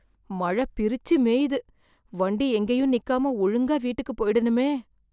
மழை பிரிச்சு மேயுது. வண்டி எங்கேயும் நிக்காம ஒழுங்கா வீட்டுக்குப் போயிடணுமே!